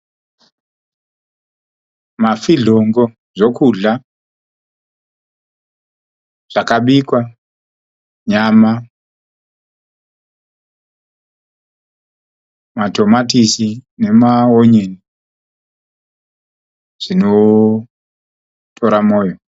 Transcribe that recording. Mafidhlongo zvekudhla zvakabikwa. Nyama, matomatisi nemaonyeni zvinotora moyo.